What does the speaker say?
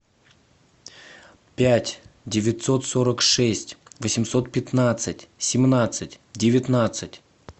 пять девятьсот сорок шесть восемьсот пятнадцать семнадцать девятнадцать